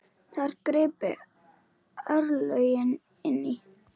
Þar gripu örlögin inn í.